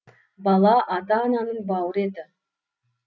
бала ата ананың бауыр еті